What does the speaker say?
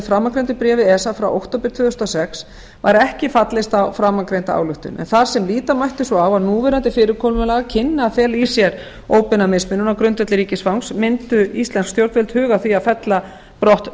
framangreindu bréfi esa frá október tvö þúsund og sex var ekki fallist á framangreinda ályktun en þar sem líta mætti svo á að núverandi fyrirkomulag kynni að fela í sér óbeina mismunun á grundvelli ríkisfangs mundu íslensk stjórnvöld huga að því að fella brott tungumálaskilyrði